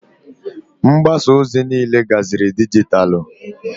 Mgbasa ozi niile gaziri dijitalụ.